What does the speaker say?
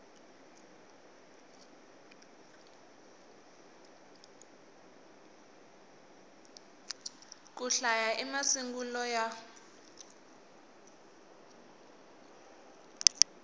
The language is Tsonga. ku hlaya i masungulo ya